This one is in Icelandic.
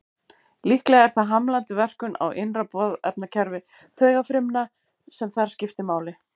Líklega er það hamlandi verkun á innra boðefnakerfi taugafrumna sem þar skiptir máli.